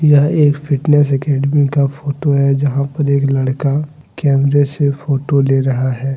यह एक fitness academy का फोटो है जहां पर एक लड़का कैमरे से फोटो ले रहा है।